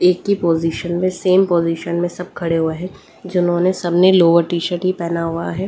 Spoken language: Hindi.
एक ही पोजीशन में सेम पोजीशन में सब खड़े हुए हैं जिन्होंने सबने लोअर टी-शर्ट ही पहना हुआ है।